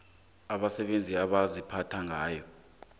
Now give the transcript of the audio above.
abasebenzi abaziphatha ngayo